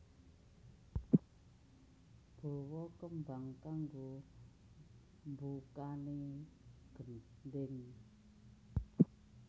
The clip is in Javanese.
Bawa tembang kanggo mbukani gendhing